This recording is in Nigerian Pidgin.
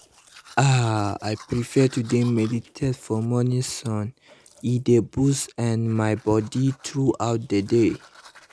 ah i prefer to dey meditate for morning sun e dey boost ehm my mood throughout the day